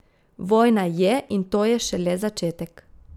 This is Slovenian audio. Vojna je in to je šele začetek.